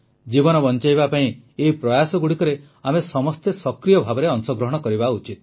ଜୀବନ ବଂଚାଇବା ପାଇଁ ଏହି ପ୍ରୟାସଗୁଡ଼ିକରେ ଆମେ ସମସ୍ତେ ସକ୍ରିୟ ଭାବେ ଅଂଶଗ୍ରହଣ କରିବା ଉଚିତ